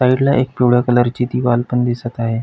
साइडला एक पिवळ्या कलरची दिवाल पण दिसत आहे.